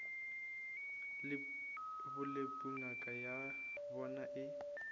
bolepu ngaka ya bona e